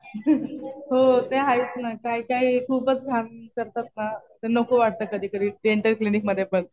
हसून हो. ते आहेच ना. काही काही खूपच घाण करतात ना तर नको वाटत कधी कधी डेंटल क्लिनिक मध्ये पण.